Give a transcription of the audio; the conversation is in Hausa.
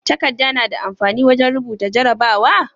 Takadda nada amfani wajan rubuta jarabawa?